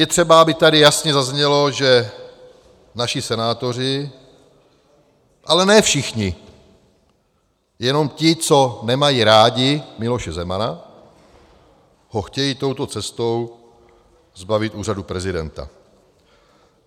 Je třeba, aby tady jasně zaznělo, že naši senátoři, ale ne všichni, jenom ti, co nemají rádi Miloše Zemana, ho chtějí touto cestou zbavit úřadu prezidenta.